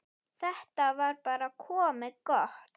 Þetta var bara komið gott.